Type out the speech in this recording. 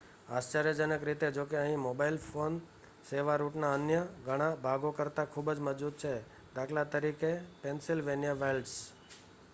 આશ્ચર્યજનક રીતે જોકે અહીં મોબાઇલ ફોન સેવા રૂટના અન્ય ઘણા ભાગો કરતા ખૂબ મજબૂત છે દા.ત પેન્સિલવેનિયા વાઇલ્ડ્સ